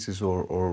eins og